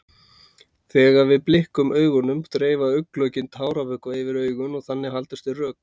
Þegar við blikkum augunum dreifa augnlokin táravökva yfir augun og þannig haldast þau rök.